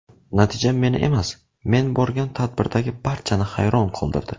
Natija meni emas, men borgan tadbirdagi barchani hayron qoldirdi.